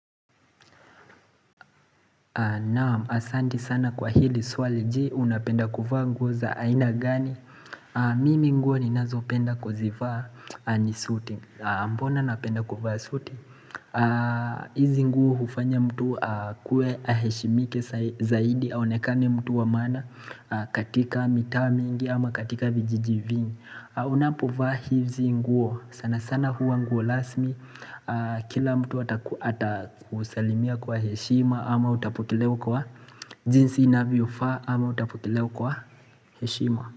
Naam, asanti sana kwa hili swali. Je, unapenda kuvaa nguo za aina gani? Mimi nguo ninazo penda kuzivaa ni suti. Mbona napenda kuvaa suti? Hizi nguo hufanya mtu akuwe aheshimike zaidi aonekane mtu wa maana katika mitaa mingi ama katika vijijiini. Unapovaa hizi nguo. Sana sana huwa nguo rasmi Kila mtu atakusalimia kwa heshima ama utapokelewa kwa jinsi inavyofaa ama utapokelewa kwa heshima.